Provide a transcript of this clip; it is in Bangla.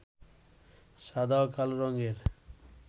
সাদা ও কালো রঙের